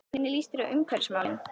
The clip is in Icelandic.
Hvernig líst þér á umhverfismálin?